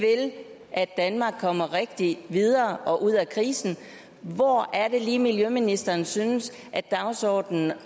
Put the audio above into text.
at danmark kommer rigtigt videre og ud af krisen hvor er det lige miljøministeren synes at dagsordenen